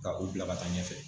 Ka u bila ka taa ɲɛfɛ.